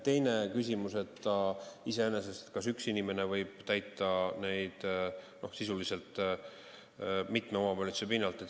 Teine küsimus iseenesest on see, kas neid ülesandeid võib täita üks inimene mitmes omavalitsuses.